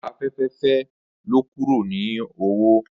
Afẹfẹ fẹ lọ kuro ni owo